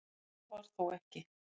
Það var þó ekki